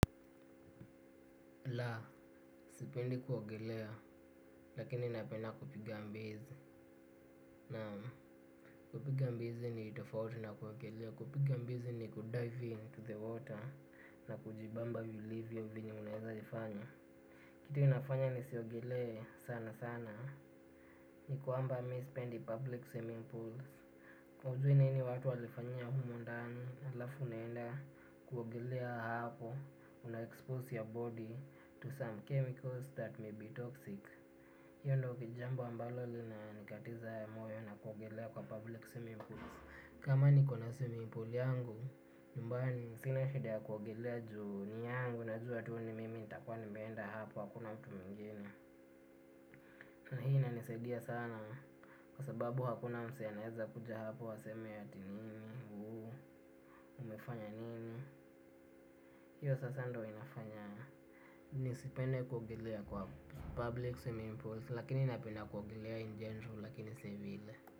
La, sipendi kuogelea, lakini napenda kupiga mbizi. Na, kupiga mbizi ni tofauti na kuogelea. Kupiga mbizi ni kudive into the water. Na kujibamba vilivyo venye unaweza ifanya. Kitu nafanya nisiogelee sana sana. Ni kwamba mimi sipendi public swimming pools hujui nini watu walifanyia humo ndani alafu unaenda kuogelea hapo. Una expose your body to some chemicals that may be toxic. Hiyo ndio jambo ambalo linanikatiza ya moyo na kuogelea kwa public swimming pools. Kama nikona swimming pool yangu nyumbani sina shida ya kuogelea juu ni yangu. Najua tu ni mimi nitakuwa nimeenda hapo hakuna mtu mwingine. Na hii inanisaidia sana kwa sababu hakuna msee anaweza kuja hapo aseme ati nini. Umefanya nini. Hiyo sasa ndiyo inafanya nisipende kuogelea kwa public swimming pools. Lakini napenda kuogelea in general lakini si vile.